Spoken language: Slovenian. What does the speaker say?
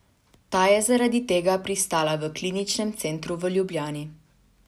Ta je zaradi tega pristala v Kliničnem centru v Ljubljani.